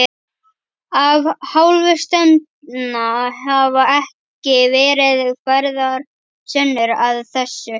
Af hálfu stefnda hafa ekki verið færðar sönnur að þessu.